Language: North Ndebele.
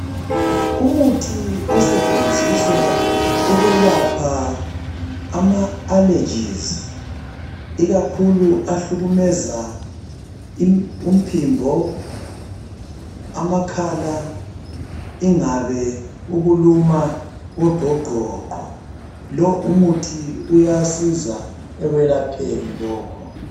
Umuthi osetshenziswa ukwelapha ama "allergies" ikakhulu ahlukumeza umphimbo, amakhala ingabe ukuluma kogqogqogqo lo umuthi uyasiza ekwelapheni lokho.